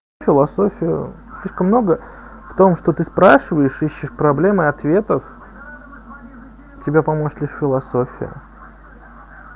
философию слишком много в том что ты спрашиваешь ищешь проблемы ответов тебе поможет лишь философия